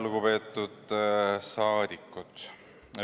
Lugupeetud rahvasaadikud!